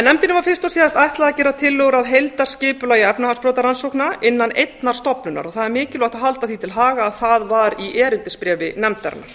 nefndinni var fyrst og síðast ætlað að gera tillögur að heildarskipulagi efnahagsbrotarannsókna innan einnar stofnunar það er mikilvægt að halda því til haga að það var í erindisbréfi nefndarinnar